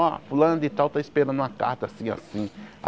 Ó, fulano de tal tá esperando uma carta assim, assim.